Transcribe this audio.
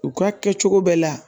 U ka kɛcogo bɛɛ la